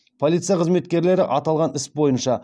полиция қызметкерлері аталған іс бойынша